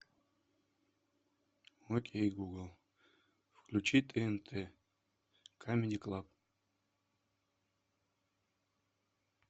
окей гугл включи тнт камеди клаб